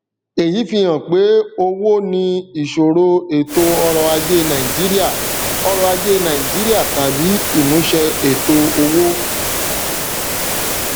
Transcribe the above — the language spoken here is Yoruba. èyí fi hàn pé owó ní ìṣòro ètò ọrọ ajé nàìjíríà ọrọ ajé nàìjíríà tàbí ìmúṣẹ ètò owó